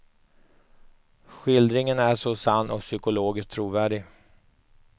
Skildringen är så sann och psykologiskt trovärdig.